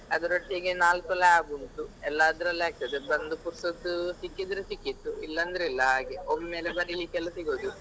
ಅದರೊಟ್ಟಿಗೆ ನಾಲ್ಕು lab ಉಂಟು ಎಲ್ಲಾ ಅದ್ರಲ್ಲೇ ಆಗ್ತದೆ ಬಂದು ಪುರ್ಸೊತ್ತು ಸಿಕ್ಕಿದ್ರೆ ಸಿಕ್ಕಿತು ಇಲ್ಲಾಂದ್ರೆ ಇಲ್ಲ ಹಾಗೆ. ಒಮ್ಮೆಲೆ ಬರೀಲಿಕ್ಕೆಲ್ಲಾ ಸಿಗುದು.